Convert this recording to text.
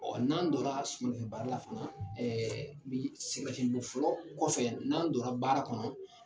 Ɔ n'an donna suma baara la, sɛngɛn lafiɲɛn bɔ fɔlɔ kɔfɛ n'an donna baara kɔnɔ